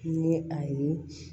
Ni a ye